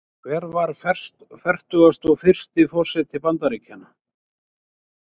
Hver var fertugasti og fyrsti forseti Bandaríkjanna?